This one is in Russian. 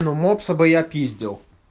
но мопса бы я пиздел